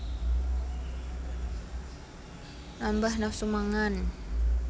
Nambah nafsu mangan